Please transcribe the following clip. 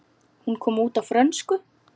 Hún kom út á frönsku